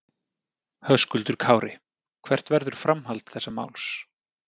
Höskuldur Kári: Hvert verður framhald þessa máls?